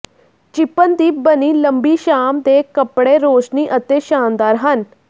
ਚਿੱਪਨ ਦੀ ਬਣੀ ਲੰਬੀ ਸ਼ਾਮ ਦੇ ਕੱਪੜੇ ਰੌਸ਼ਨੀ ਅਤੇ ਸ਼ਾਨਦਾਰ ਹਨ